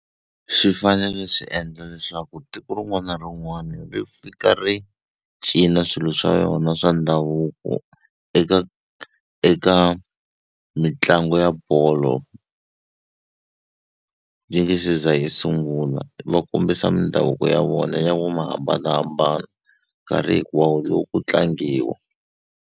Swi fanele swi endla leswaku tiko rin'wana na rin'wana ri fika ri cina swilo swa yona swa ndhavuko eka eka mitlangu ya bolo yi nge se za yi sunguna ma kombisa mindhavuko ya vona ya ku ma hambanahambana nkarhi hinkwawo loko ku tlangiwa.